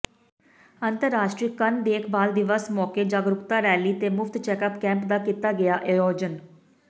ਅੰਤਰਰਾਸ਼ਟਰੀ ਕੰਨ ਦੇਖਭਾਲ ਦਿਵਸ ਮੌਕੇ ਜਾਗਰੂਕਤਾ ਰੈਲੀ ਤੇ ਮੁਫਤ ਚੈਕਅੱਪ ਕੈਂਪ ਦਾ ਕੀਤਾ ਗਿਆ ਆਯੋਜਨ